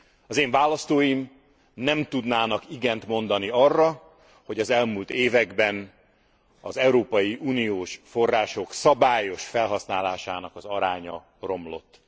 Az én választóim nem tudnának igent mondani arra, hogy az elmúlt években az európai uniós források szabályos felhasználásának az aránya romlott.